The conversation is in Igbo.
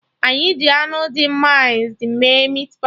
Anyị ji anụ dị mịnced mee meatpie